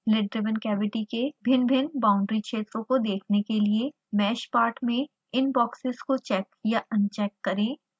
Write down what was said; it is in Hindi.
lid driven cavity के भिन्नभिन्न बाउंड्री क्षेत्रों को देखने के लिए mesh part में इन बॉक्सेस को चेक या अनचेक करें